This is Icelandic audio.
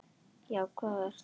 Já, hvað ertu annað?